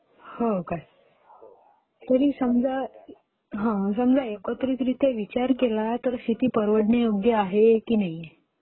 हो काय,